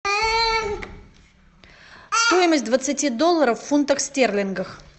стоимость двадцати долларов в фунтах стерлингах